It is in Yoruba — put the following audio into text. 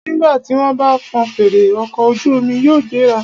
Nígbà tí wọ́n bá fọn fèrè, ọkọ̀ ojú omi yóò gbéra.